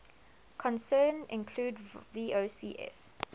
concern include vocs